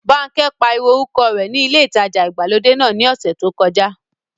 Bánkẹ́ pariwo orúkọ rẹ ní ilé ìtajà ìgbàlódé náà ní ọ̀sẹ̀ tí ó kọjá